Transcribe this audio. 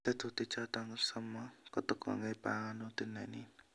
Tetuti choton somok kotokongei pananutit nenin